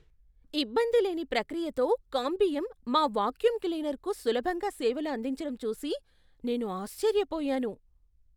ఇబ్బందిలేని ప్రక్రియతో కాంబియం మా వాక్యూమ్ క్లీనర్కు సులభంగా సేవలు అందించడం చూసి నేను ఆశ్చర్యపోయాను.